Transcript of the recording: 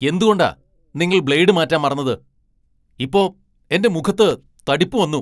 എന്തുകൊണ്ടാ നിങ്ങൾ ബ്ലേഡ് മാറ്റാൻ മറന്നത്? ഇപ്പോ എന്റെ മുഖത്ത് തടിപ്പ് വന്നു !